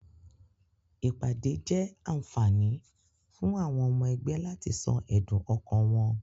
Ìpàdé egbé jé ànfàní fún àwon omo egbé láti so èdùn okàn won